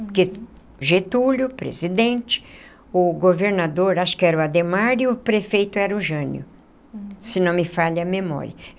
Porque Getúlio, presidente, o governador, acho que era o Adhemar, e o prefeito era o Jânio, se não me falha a memória.